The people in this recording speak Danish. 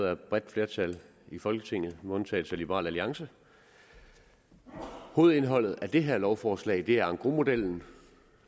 af et bredt flertal i folketinget med undtagelse af liberal alliance hovedindholdet af det her lovforslag er engrosmodellen